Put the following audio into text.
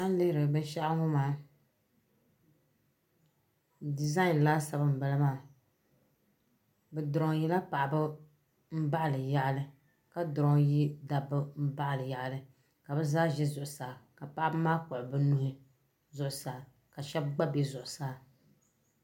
An lihiri binshaɣu ŋɔ maa dizai laasabu n bala maa bi duroyila paɣaba n baɣili yaɣili ka duroyi dabi n baɣili yaɣili kabi zaa ʒi zuɣu saa ka paɣaba maa kpuɣi bi nuhi zuɣu saa ka shɛb gba be zuɣu saa.